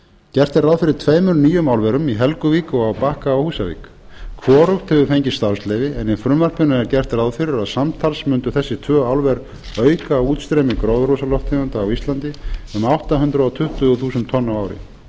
gert er ráð fyrir tveimur nýjum álverum í helguvík og á bakka við húsavík hvorugt hefur fengið starfsleyfi en í frumvarpinu er gert ráð fyrir að samtals mundu þessi tvö álver auka útstreymi gróðurhúsalofttegunda á íslandi um átta hundruð tuttugu þúsund tonn á ári þar af